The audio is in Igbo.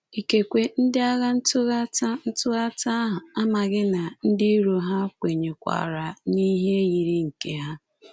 Ikekwe, ndị agha ntụghata ntụghata ahụ amaghị na ndị iro ha kwenyekwaara n'ihe yiri nke ha.